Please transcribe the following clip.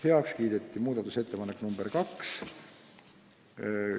Heaks kiideti muudatusettepanek nr 2.